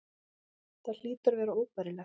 Það hlýtur að vera óbærilegt.